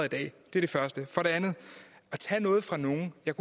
er det første for det andet at tage noget fra nogen jeg